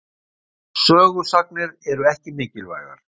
Sögusagnir eru ekki mikilvægar.